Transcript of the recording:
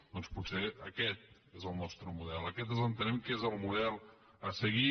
doncs potser aquest és el nostre model aquest entenem que és el model a seguir